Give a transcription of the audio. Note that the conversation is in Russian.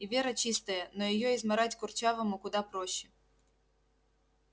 и вера чистая но её измарать курчавому куда проще